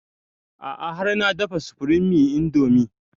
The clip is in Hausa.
A'a har na dafa supreme indomie